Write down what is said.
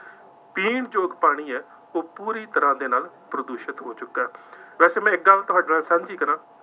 ਪੀਣ ਯੋਗ ਪਾਣੀ ਹੈ, ਉਹ ਪੂਰੀ ਤਰ੍ਹਾ ਦੇ ਨਾਲ ਪ੍ਰਦੂਸ਼ਿਤ ਹੋ ਚੁੱਕਾ ਹੈ। ਵੈਸੇ ਮੈਂ ਇੱਕ ਗੱਲ ਤੁਹਾਡੇ ਨਾਲ ਸਾਂਝੀ ਕਰਾਂ।